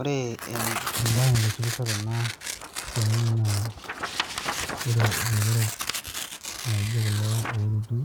Ore embae naitishipisho tena siai naa, ore ilotorok laijo kulo ooruti